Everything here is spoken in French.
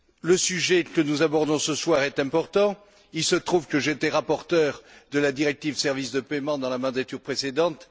Le sujet que nous abordons ce soir est important. Il se trouve que j'étais rapporteur de la directive sur les services de paiement dans la mandature précédente.